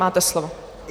Máte slovo.